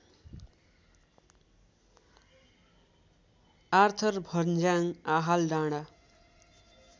Arthur Bhanjyang Ahaldanda